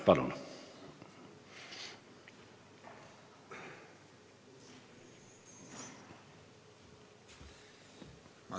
Palun!